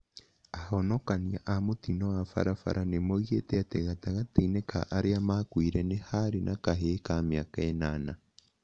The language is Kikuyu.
Ahonokania a mũtino wa barabara nĩmoigĩte atĩ gatagatĩ-inĩ ka arĩa maakuire nĩ harĩ na kahĩĩ ka mĩaka ĩnana.